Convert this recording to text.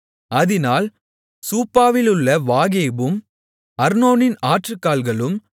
அதினால் சூப்பாவிலுள்ள வாகேபும் அர்னோனின் ஆற்றுக்கால்களும்